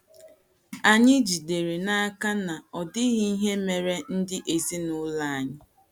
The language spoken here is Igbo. Anyị jidere n’aka na ọ dịghị ihe mere ndị ezinụlọ anyị.